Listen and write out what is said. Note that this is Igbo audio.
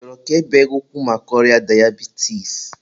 ị chọrọ ka e bee gị ụkwụ maka ọrịa dayabitis?